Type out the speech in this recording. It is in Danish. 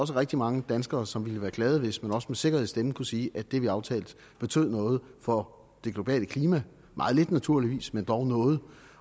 rigtig mange danskere som ville være glade hvis man også med sikkerhed i stemmen kunne sige at det vi aftalte betød noget for det globale klima meget lidt naturligvis men dog noget